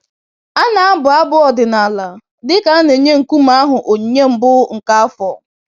A na-abụ abụ ọdịnala dịka a na-enye nkume ahụ onyinye mbụ nke afọ.